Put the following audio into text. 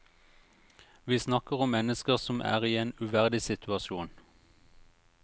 Vi snakker om mennesker som er i en uverdig situasjon.